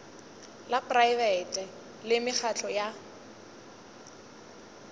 la praebete le mekgatlo ya